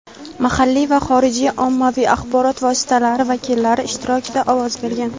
mahalliy va xorijiy ommaviy axborot vositalari vakillari ishtirokida ovoz bergan.